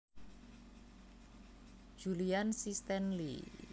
Julian C Stanley